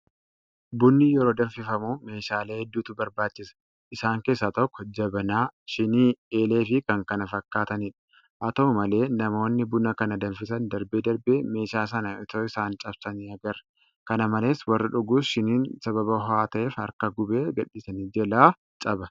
Bunni yeroo danfifamu meeshaalee hedduutu barbaachisa. Isaan keessaa tokko Jabanaa, Shiinii, Eeleefi kan kana fakkaatanidha. Haa ta'u malee namoonni buna kana danfisan darbee darbee meeshaa sana itoo isaan cabsanii agarra. Kana malees warri dhugus shiiniin sababa ho'aa ta'eef harka gubee gadhiisanii jalaa caba.